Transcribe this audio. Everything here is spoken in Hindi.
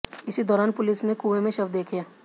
इसी दौरान पुलिस ने कुएं में शव देखे